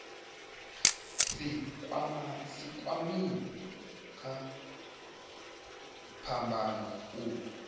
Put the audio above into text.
si kwamee kha phambano u